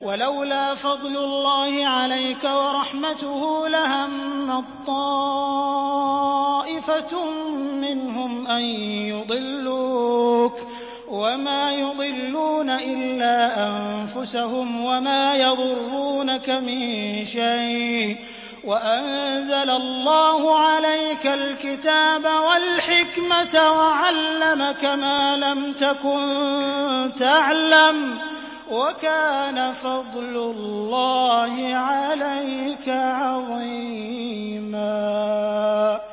وَلَوْلَا فَضْلُ اللَّهِ عَلَيْكَ وَرَحْمَتُهُ لَهَمَّت طَّائِفَةٌ مِّنْهُمْ أَن يُضِلُّوكَ وَمَا يُضِلُّونَ إِلَّا أَنفُسَهُمْ ۖ وَمَا يَضُرُّونَكَ مِن شَيْءٍ ۚ وَأَنزَلَ اللَّهُ عَلَيْكَ الْكِتَابَ وَالْحِكْمَةَ وَعَلَّمَكَ مَا لَمْ تَكُن تَعْلَمُ ۚ وَكَانَ فَضْلُ اللَّهِ عَلَيْكَ عَظِيمًا